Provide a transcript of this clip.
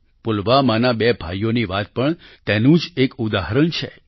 પુલવામાના બે ભાઈઓની વાત પણ તેનું જ એક ઉદાહરણ છે